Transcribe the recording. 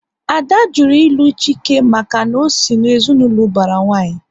Ada jụrụ ilu Chike maka na ọ sị na ezinaụlọ ubara nwanyi